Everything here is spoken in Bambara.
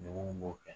Degun b'o kɛ